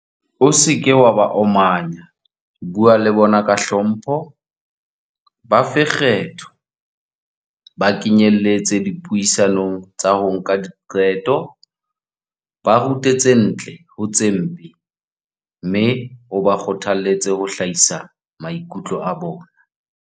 O seke wa ba omanya, bua le bona ka hlompho, ba fe kgetho, ba kenyeletse dipuisanong tsa ho nka diqeto, ba rute tse ntle ho tse mpe, mme o ba kgothaletse ho hlahisa maikutlo a bona.